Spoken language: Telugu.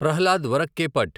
ప్రహ్లాద్ వరక్కేపట్